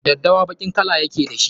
Daddawa baƙin kala ya ke da shi.